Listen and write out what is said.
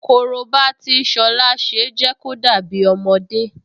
Korobá tí Ṣọlá ṣe jẹ́ kó dàbí ọmọdé